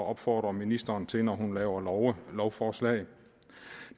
at opfordre ministeren til når hun laver lovforslag